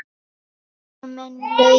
Vinur minn Laugi!